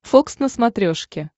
фокс на смотрешке